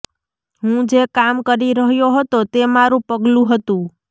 હું જે કામ કરી રહ્યો હતો તે મારું પગલું હતું